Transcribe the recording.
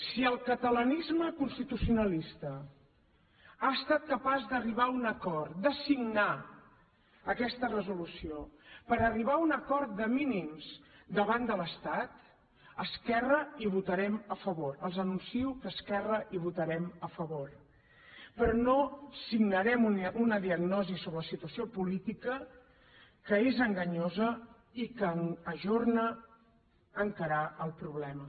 si el catalanisme constitucionalista ha estat capaç d’arribar a un acord de signar aquesta resolució per arribar a un acord de mínims davant de l’estat esquerra hi votarem a favor els anuncio que esquerra hi votarem a favor però no signarem una diagnosi sobre la situació política que és enganyosa i que ajorna encarar el problema